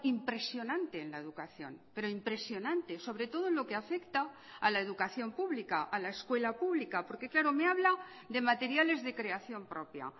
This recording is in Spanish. impresionante en la educación pero impresionante sobre todo en lo que afecta a la educación pública a la escuela pública porque claro me habla de materiales de creación propia